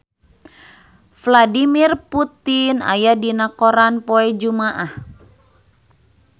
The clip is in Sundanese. Vladimir Putin aya dina koran poe Jumaah